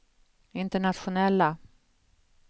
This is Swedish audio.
internationella